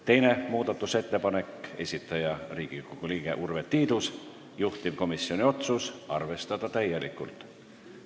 Teine muudatusettepanek, esitaja Riigikogu liige Urve Tiidus, juhtivkomisjoni otsus: arvestada täielikult.